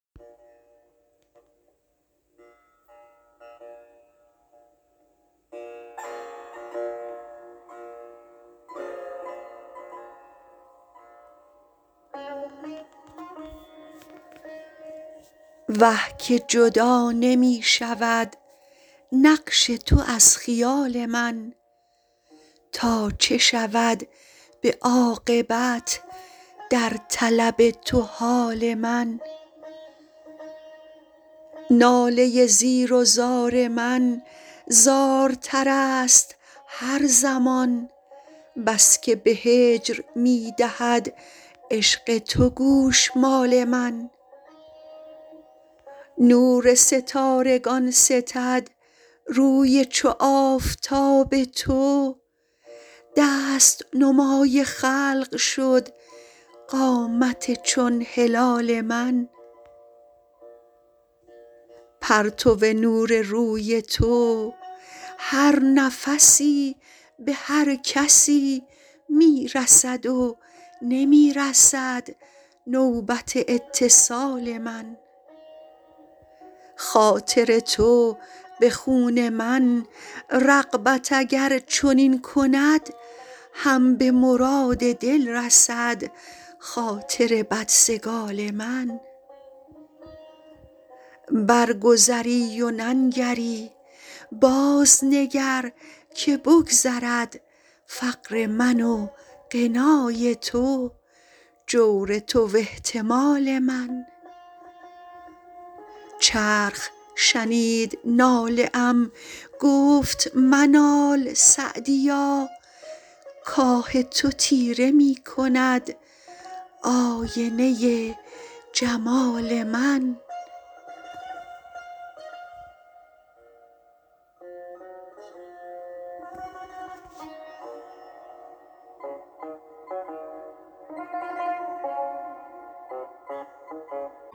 وه که جدا نمی شود نقش تو از خیال من تا چه شود به عاقبت در طلب تو حال من ناله زیر و زار من زارتر است هر زمان بس که به هجر می دهد عشق تو گوشمال من نور ستارگان ستد روی چو آفتاب تو دست نمای خلق شد قامت چون هلال من پرتو نور روی تو هر نفسی به هر کسی می رسد و نمی رسد نوبت اتصال من خاطر تو به خون من رغبت اگر چنین کند هم به مراد دل رسد خاطر بدسگال من برگذری و ننگری بازنگر که بگذرد فقر من و غنای تو جور تو و احتمال من چرخ شنید ناله ام گفت منال سعدیا کآه تو تیره می کند آینه جمال من